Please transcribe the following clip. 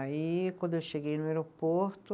Aí, quando eu cheguei no aeroporto,